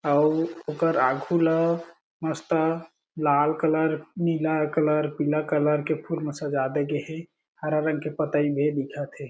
अउ उकर आघु ला मस्त लाल कलर नीला कलर पीला कलर के फूल म सजा दे गेहें हरा रंग के पतही भी दीखत हें।